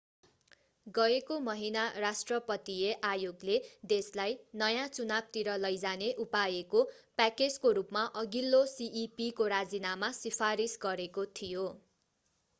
गएको महिना राष्ट्रपतिय आयोगले देशलाई नयाँ चुनावतिर लैजाने उपायको प्याकेजको रूपमा अघिल्लो cep को राजीनामा सिफारिस गरेको थियो